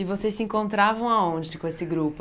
E vocês se encontravam aonde com esse grupo?